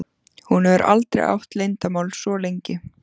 Hún hefur aldrei átt leyndarmál svo lengi.